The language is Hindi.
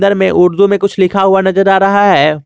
में उर्दू में कुछ लिखा हुआ नजर आ रहा है।